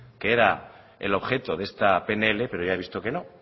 que era el objeto de esta pnl pero ya he visto que no